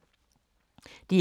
DR K